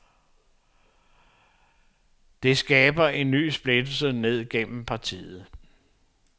Det skaber en ny splittelse ned igennem partiet.